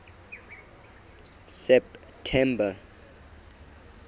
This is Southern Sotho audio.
september